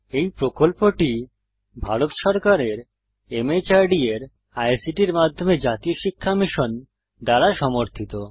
এই প্রকল্পটি ভারত সরকারের মাহর্দ এর আইসিটির মাধ্যমে জাতীয় শিক্ষা মিশন দ্বারা সমর্থিত